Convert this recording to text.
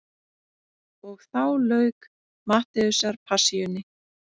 Og þá lauk Mattheusarpassíunni.